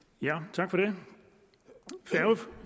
tak for det